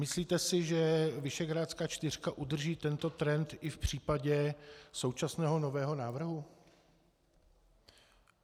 Myslíte si, že Visegrádská čtyřka udrží tento trend i v případě současného nového návrhu?